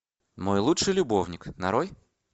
мой лучший любовник нарой